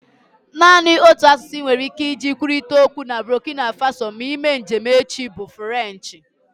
Naanị otu asụsụ inwere ike iji kwurịta okwu na Burkina Faso ma ime njem echi bụ Frenchi